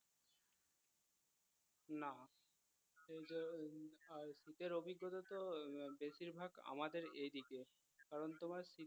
না শীতের অভিজ্ঞতা তো বেশির ভাগ আমাদের এদিকে কারণ তোমার